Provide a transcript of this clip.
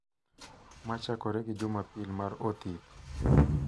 Ma chakore gi Jumapil mar Othith,